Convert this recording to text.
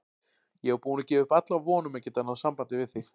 Ég var búin að gefa upp alla von um að geta náð sambandi við þig!